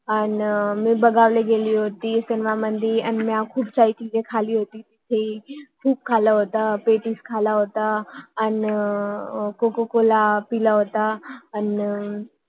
मी बघायला गेली होती सिनेमा मध्ये अनि मी खूप खाला आह आणि पेटीस कोकोकोला पिला होता